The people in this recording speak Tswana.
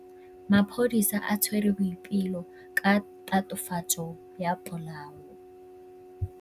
Maphodisa a tshwere Boipelo ka tatofatsô ya polaô.